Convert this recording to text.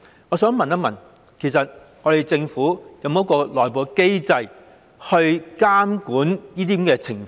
我想問政府有沒有內部機制監管這些情況？